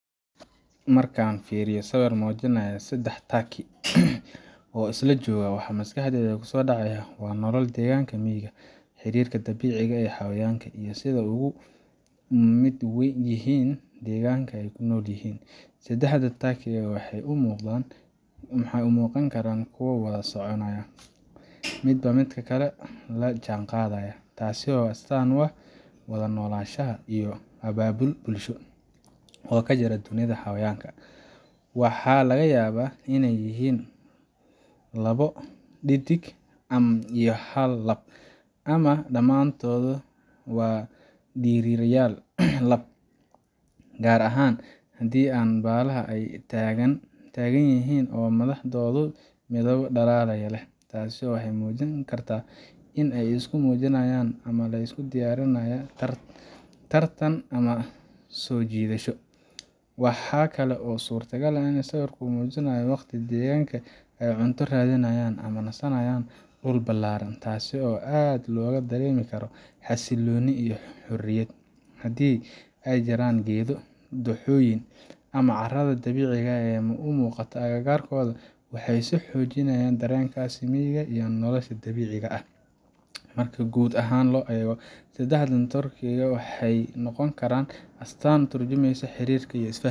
Markaan fiiriyo sawir muujinaya saddex turkey oo isla jooga, waxa maskaxdayda kusoo dhacaya waa nolol deggan oo miyiga ah, xiriirka dabiiciga ah ee xayawaanka, iyo sida ay uga mid yihiin deegaanka ay ku nool yihiin. Saddexda turkey waxay u muuqan karaan kuwo wada soconaya, midba midka kale la jaanqaadaya taas oo astaan u ah wada noolaansho iyo abaabul bulsho oo ka jira dunida xayawaanka. Waxaa laga yaabaa inay yihiin labo dhedig iyo hal lab ah, ama dhamaantood waa dhirirayaal lab, gaar ahaan haddii baallaha ay taagan yihiin oo madaxooda midabbo dhalaalaya leh. Taasi waxay muujin kartaa in ay isku muujinayaan ama ay isku diyaarinayaan tartan ama soo jiidasho. Waxaa kale oo suuragal ah in sawirku muujinayo waqti deggan oo ay cunto raadinayaan ama ku nasanayaan dhul ballaaran, taasi oo aad looga dareemi karo xasillooni iyo xorriyad. Haddii ay jiraan geedo, dooxooyin, ama carrada dabiiciga ah ee muuqata agagaarkooda, waxay sii xoojinaysaa dareenkaas miyiga iyo nolosha dabiiciga ah. Marka guud ahaan la eego, saddexda turkey waxay noqon karaan astaan ka turjumaysa xiriirka, is fahamka